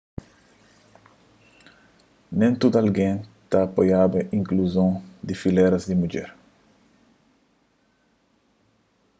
nen tudu algen ta apoiaba inkluzon di filéras di mudjer